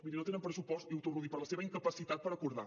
mirin no tenen pressupost i ho torno a dir per la seva incapacitat per acordar